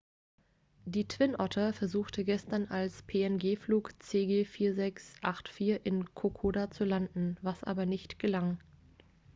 die twin otter versuchte gestern als png-flug cg4684 in kokoda zu landen was aber nicht gelang